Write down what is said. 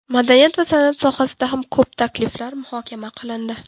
Madaniyat va san’at sohasida ham ko‘p takliflar muhokama qilindi.